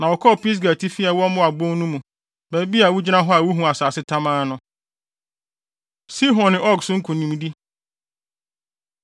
na wɔkɔɔ Pisga atifi a ɛwɔ Moab bon no mu, baabi a wugyina a wuhu asase tamaa no. Sihon Ne Og So Nkonimdi